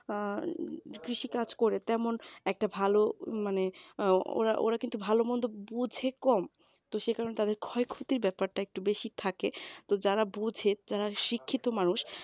অ্যাঁ কৃষি কাজ করে তেমন একটা ভালো মানে ওরা ওরা কিন্তু ভালো মন্দ বোঝে কম তো সে কারণে তাদের ক্ষয়ক্ষতির ব্যাপারটা একটু বেশি থাকে তো যারা বোঝে যারা শিক্ষিত মানুষ